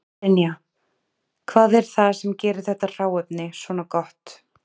Brynja: Hvað er það sem gerir þetta hráefni svona gott?